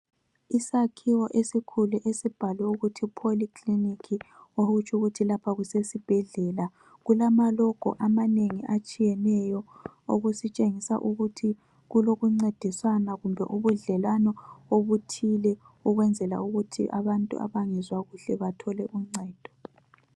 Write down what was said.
Isakhiwo esikhulu esibhalwe ukuthi polyclinic , okutsho ukuthi lapha kusesibhedlela , kulama logo amanengi atshiyeneyo okusitshengisa ukuthi kulokuncedisana kumbe ubudlelwano obuthile ukwenzela ukuthi abantu abangezwa kuhle bathole uncedo